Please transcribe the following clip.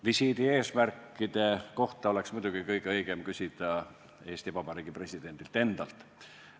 Visiidi eesmärkide kohta oleks muidugi kõige õigem küsida Eesti Vabariigi presidendilt endalt.